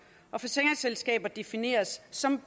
og forsikringsselskaber defineres som